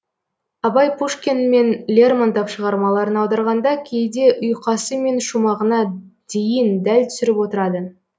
абай пушкин мен лермонтов шығармаларын аударғанда кейде ұйқасы мен шумағына дейін дәл түсіріп отырады